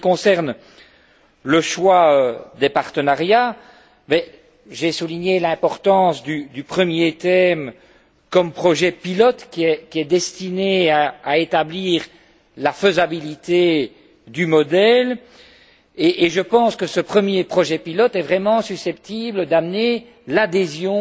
En ce qui concerne le choix des partenariats, j'ai souligné l'importance du premier thème comme projet pilote qui est destiné à établir la faisabilité du modèle et je pense que ce premier projet pilote est véritablement susceptible d'amener l'adhésion